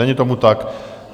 Není tomu tak.